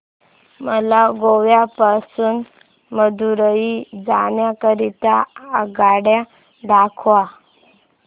मला गोवा पासून मदुरई जाण्या करीता आगगाड्या दाखवा